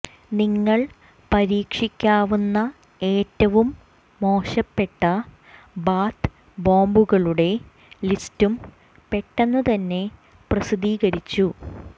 നിങ്ങൾ പരീക്ഷിക്കാവുന്ന ഏറ്റവും മോശപ്പെട്ട ബാത്ത് ബോംബുകളുടെ ലിസ്റ്റും പെട്ടെന്നുതന്നെ പ്രസിദ്ധീകരിച്ചു